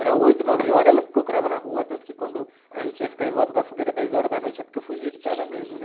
Era oito, nove horas, ela me procurava na rua, tanto que quando a gente ia ficar em volta da fogueira dez horas da noite, é porque eu fugia de casa mesmo, né?